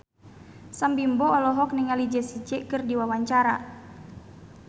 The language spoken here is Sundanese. Sam Bimbo olohok ningali Jessie J keur diwawancara